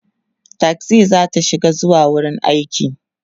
taxi zata shiga zuwa wurin aiki